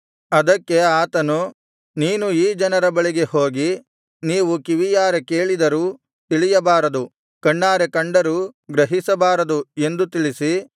ಅದಕ್ಕೆ ಆತನು ನೀನು ಈ ಜನರ ಬಳಿಗೆ ಹೋಗಿ ನೀವು ಕಿವಿಯಾರೆ ಕೇಳಿದರೂ ತಿಳಿಯಬಾರದು ಕಣ್ಣಾರೆ ಕಂಡರೂ ಗ್ರಹಿಸಬಾರದು ಎಂದು ತಿಳಿಸಿ